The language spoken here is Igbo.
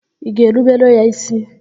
Ị ga-erubere ya ísí?